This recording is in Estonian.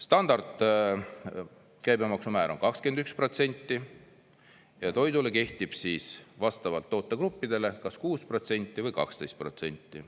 Standardkäibemaksumäär on 21%, toidule kehtib vastavalt tootegruppidele kas 6% või 12%.